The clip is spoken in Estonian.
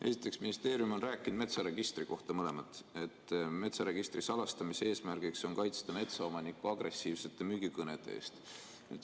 Esiteks, ministeerium on rääkinud metsaregistri kohta, et metsaregistri salastamise eesmärgiks on kaitsta metsaomanikku agressiivsete müügikõnede eest.